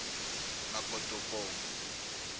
makotopong